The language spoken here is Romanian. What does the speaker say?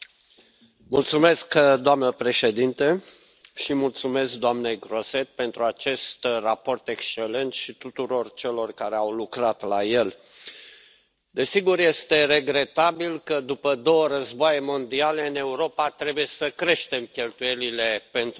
Doamnă președintă, îi mulțumesc doamnei Grossetête pentru acest raport excelent și tuturor celor care au lucrat la el. Desigur, este regretabil că, după două războaie mondiale, în Europa trebuie să creștem cheltuielile pentru industria de apărare,